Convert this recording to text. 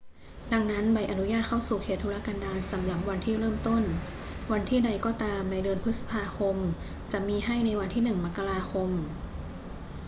ดังนั้น ใบอนุญาตเข้าสู่เขตทุรกันดารสำหรับวันที่เริ่มต้นวันที่ใดก็ตามในเดือนพฤษภาคมจะมีให้ในวันที่ 1 มกราคม